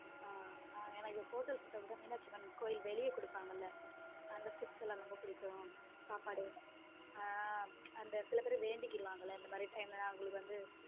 ஹம் ஹம் எனக்கு photos இதை விட மீனாட்சி அம்மன் கோவிலுக்கு வெளிய குடுப்பாங்கல அந்த food எல்லாம் எனக்கு ரொம்ப பிடிக்கும் சாப்பாட ஹம் அந்த சில பேரு வேண்டிக்குவாங்கல இந்த மாதிரி time லாம் எங்களுக்கு வந்து.